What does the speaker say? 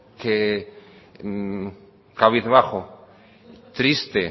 cabizbajo triste